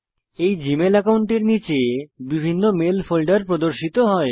এই জীমেল অ্যাকাউন্টের নীচে বিভিন্ন মেল ফোল্ডার প্রদর্শিত হয়